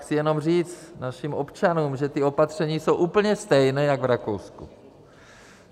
Chci jenom říct našim občanům, že ta opatření jsou úplně stejná jako v Rakousku.